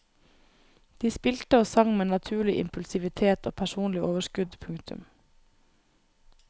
De spilte og sang med naturlig impulsivitet og personlig overskudd. punktum